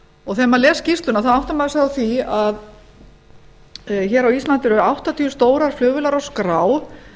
og þegar maður les skýrsluna áttar maður sig á því að hér á íslandi eru áttatíu stórar flugvélar á skrá